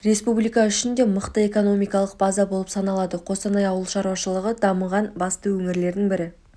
республика үшін де мықты экономикалық база болып саналады қостанай ауыл шаруашылығы дамыған басты өңірлердің бірі